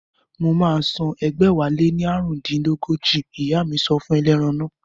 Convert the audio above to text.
Mo máa san ẹgbẹ̀wáléní ààrùndínní ọgọ́jọ, ìyá mi sọ fún ẹlẹ́ran naa